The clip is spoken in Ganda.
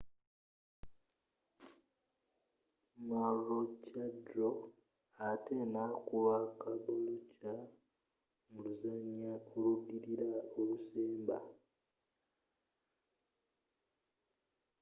maroochydore ate nakuba caboolture mu luzanya oludilila olusemba